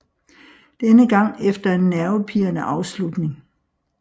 Denne gang efter en nervepirrende afslutning